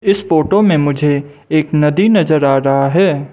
इस फोटो में मुझे एक नदी नजर आ रहा है।